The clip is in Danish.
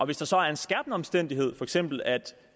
hvis der så er en skærpende omstændighed for eksempel at